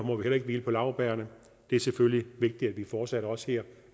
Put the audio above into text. må heller ikke hvile på laurbærrene det er selvfølgelig vigtigt at vi fortsat også her